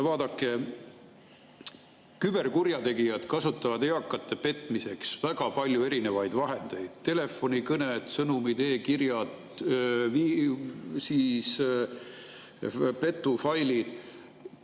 Vaadake, küberkurjategijad kasutavad eakate petmiseks väga paljusid vahendeid: telefonikõned, sõnumid, e‑kirjad, petufailid.